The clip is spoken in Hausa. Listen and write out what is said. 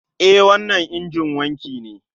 E, wancan injin wanki ne